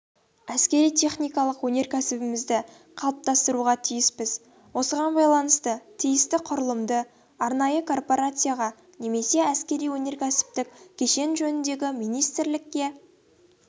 әскери-техникалық өнеркәсібімізді қалыптастыруға тиіспіз осыған байланысты тиісті құрылымды арнайы корпорацияға немесе әскери-өнеркәсіптік кешен жөніндегі министрлікке